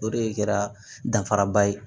O de kɛra danfara ba ye